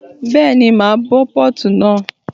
Bẹ́ẹ̀ni, màá bó Pọ́ọ̀tù náà.